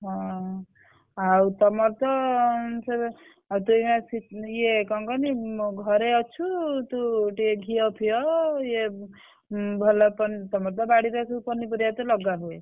ହଁ ଆଉ ତମର ତ ଉଁ ସେ ତୁ ଏଇଖିନା ~ଚିକ୍ ଇଏ କଣ କହନି ଘରେ ଅଛୁ ତୁ ଟିକେ ଘିଅଫିଅ ଇଏ ଉଁ ଭଲ ପନିପରିବା ତମର ତ ବାଡିରେ ପନିପରିବା ତ ଲଗା ହୁଏ।